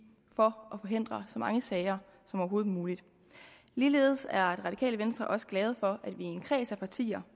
for at forhindre så mange sager som overhovedet muligt ligeledes er radikale venstre også glade for at vi i en kreds af partier